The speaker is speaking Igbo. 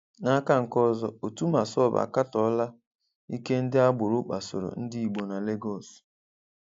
N'áká nke ọzọ, òtù Màssọb àkátọọla íke ndị́ ágbòrò kpasòrò Ndị́gbò nà Legọs.